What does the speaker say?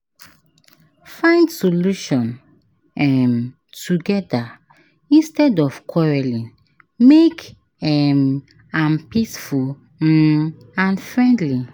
Find solution um together instead of quarreling, make um am peaceful um and friendly.